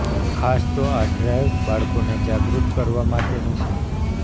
ખાસ તો આ ડ્રાઈવ બાળકોને જાગૃત કરવા માટેની છે